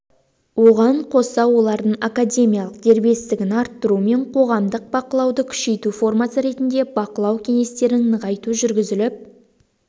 оған қоса лардың академиялық дербестігін арттыру мен қоғамдық бақылауды күшейту формасы ретінде бақылау кеңестерін нығайту жүргізіліп